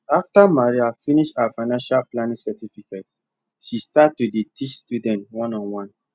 after maria finish her financial planning certificate she start to dey teach students one on one